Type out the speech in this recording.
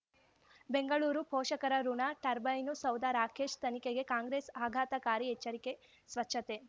ಬೆಂಗಳೂರು ಪೋಷಕರಋಣ ಟರ್ಬೈನು ಸೌಧ ರಾಕೇಶ್ ತನಿಖೆಗೆ ಕಾಂಗ್ರೆಸ್ ಆಘಾತಕಾರಿ ಎಚ್ಚರಿಕೆ ಸ್ವಚ್ಛತೆ